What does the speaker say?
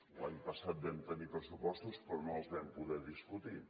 l’any passat vam tenir pressupostos però no els vam poder discutir